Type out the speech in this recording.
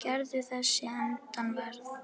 Garður þessi Eden varð.